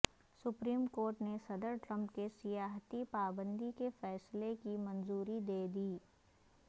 supreme court نے صدر Trump کے سیاحتی پابندی کے فیصلے کی منظوری دے دی